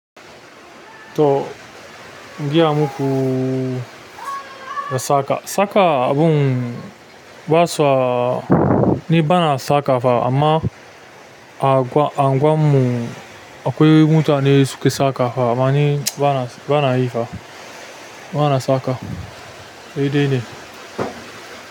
To in giya muku na saka. Saka abun gwasa ni bana saka fa amma a-anguwarmu, a anguwarmu akwai mutane suke saka fa amma ni bana, bana yi fa. Bana saka. Shi dai ne.